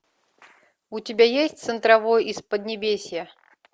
у тебя есть центровой из поднебесья